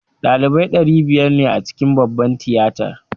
Ɗalibai ɗari biyar ne a cikin babbar tiyatar